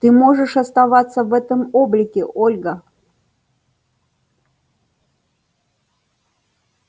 ты можешь оставаться в этом облике ольга